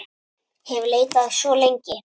hef leitað svo lengi.